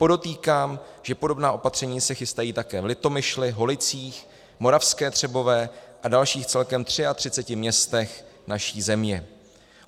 Podotýkám, že podobná opatření se chystají také v Litomyšli, Holicích, Moravské Třebové a dalších celkem 33 městech naší země.